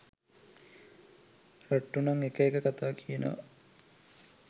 රට්‍ටු නං එක එක කතා කියනව.